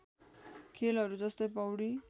खेलहरू जस्तै पौडी